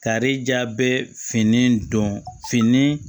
Kari ja bɛɛ fini don fini